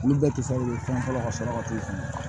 Olu bɛɛ tɛ se fɛn fɔlɔ ka sɔrɔ ka t'o faamu